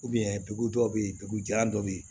dugu dɔw bɛ yen dugu jan dɔw bɛ yen